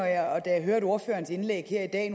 jeg hørte ordførerens indlæg her i dag